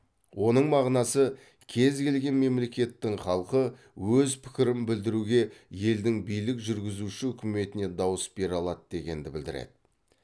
оның мағынасы кез келген мемлекеттің халқы өз пікірін білдіруге елдің билік жүргізуші үкіметіне дауыс бере алады дегенді білдіреді